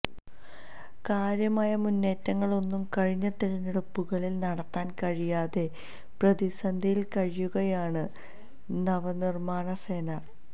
കാര്യമായ മുന്നേറ്റങ്ങളൊന്നും കഴിഞ്ഞ തിരഞ്ഞെടുപ്പുകളിൽ നടത്താൻ കഴിയാതെ പ്രതിസന്ധിയിൽ കഴിയുകയാണ് നവ്നിർമാണ് സേന